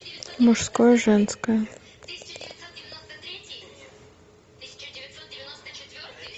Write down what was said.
мужское женское